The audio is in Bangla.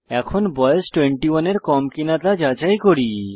এখন বয়স 21 এর কম কিনা তা যাচাই করি